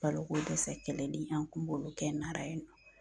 Balokodɛsɛ kɛlɛli an kun b'olu kɛ Nara yen nɔ